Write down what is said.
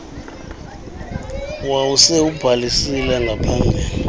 wawusele ubhalisile ngaphambili